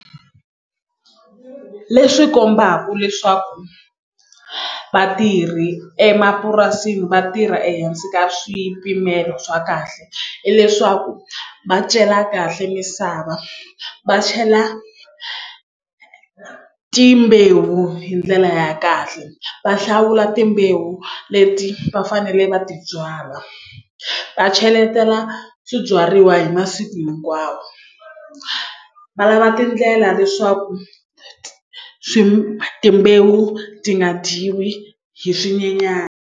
Leswi kombaku leswaku vatirhi emapurasini vatirha ehansi ka swipimelo swa kahle hileswaku va cela kahle misava va chela timbewu hi ndlela ya kahle va hlawula timbewu leti va fanele va ti byalwa va cheletela swibyariwa hi masiku hinkwawo va lava tindlela leswaku timbewu ti nga dyiwi hi swinyenyana.